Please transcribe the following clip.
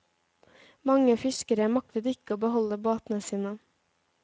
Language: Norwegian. Mange fiskere maktet ikke å beholde båtene sine.